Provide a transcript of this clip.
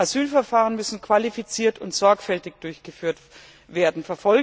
Asylverfahren müssen qualifiziert und sorgfältig durchgeführt werden.